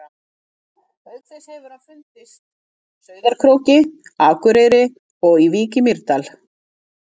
Auk þess hefur hann fundist Sauðárkróki, Akureyri og í Vík í Mýrdal.